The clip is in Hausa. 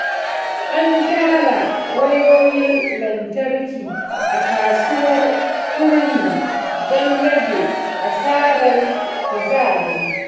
An gyara wayoyin lantarki a kasuwar Kurmi don rage asarar kuzari.